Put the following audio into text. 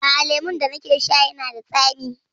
A'a, lemun da nake sha yana da tsami.